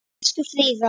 Elsku Fríða.